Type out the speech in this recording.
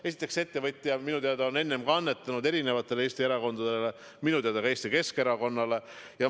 Esiteks, see ettevõtja minu teada on enne ka annetanud erinevatele Eesti erakondadele, minu teada ka Eesti Keskerakonnale.